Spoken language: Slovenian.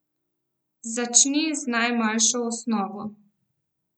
Začni z najmanjšo osnovo.